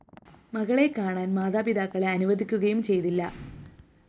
മകളെ കാണാന്‍ മാതാപിതാക്കളെ അനുവദിക്കുകയും ചെയ്തില്ല